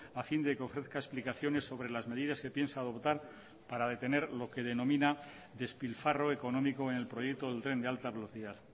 a fin de que ofrezca explicaciones sobre las medidas que piensa adoptar para detener lo que denomina despilfarro económico en el proyecto del tren de alta velocidad